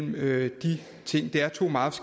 med de ting det er to meget